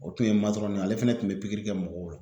O tun ye ale fɛnɛ tun be pikiri kɛ mɔgɔw la.